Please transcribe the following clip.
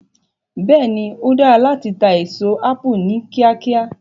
Bẹ́ẹ̀ ni, ó dára láti ta èso ápù ní kíákíá.